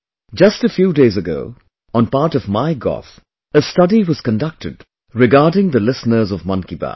Just a few days ago, on part of MyGov, a study was conducted regarding the listeners of Mann ki Baat